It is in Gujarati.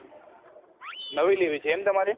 નવી લેવી છે એમ તમારે